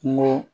Kungo